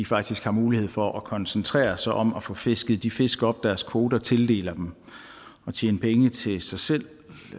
faktisk har mulighed for at koncentrere sig om at få fisket de fisk op deres kvoter tildeler dem og tjene penge til sig selv